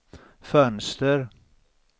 fönster